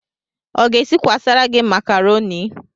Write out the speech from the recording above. Ọ ga-esikwasara gị makaroni?